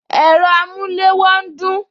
Ẹ̀rọ amulewo ń dún